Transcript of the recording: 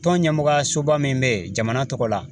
Tɔn ɲɛmɔgɔyasoba min bɛ yen jamana tɔgɔ la